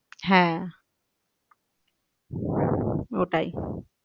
হ্যাঁ ওটাই